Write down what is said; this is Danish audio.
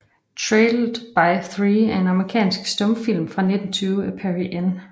Trailed by Three er en amerikansk stumfilm fra 1920 af Perry N